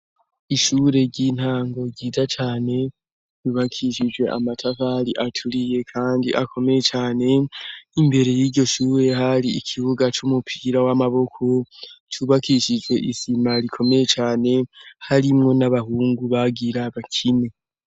Ishure ry'intango ryiza cane ryubakishijwe amatafari aturiye kandi akomeye cane. Imbere y'iryo shure, har'ikibuga c'umupira w'amaboko cubakishijwe isima rikomeye cane, harimwo n'abahungu bagira abakine.